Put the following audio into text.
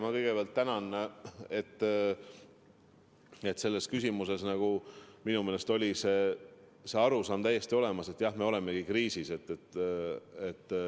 Ma kõigepealt tänan, et selles küsimuses kajastus minu meelest täiesti see arusaam, et jah, me olemegi kriisis.